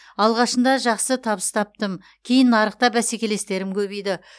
алғашында жақсы табыс таптым кейін нарықта бәсекелестерім көбейді